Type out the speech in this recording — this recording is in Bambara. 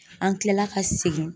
An kilala ka segin